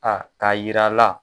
A k'a yira a la